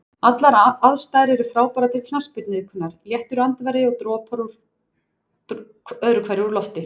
Allar aðstæður er frábærar til knattspyrnuiðkunar, léttur andvari og dropar öðru hverju úr lofti.